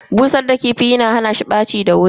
Busar da kifi yana hana shi ɓaci da wuri.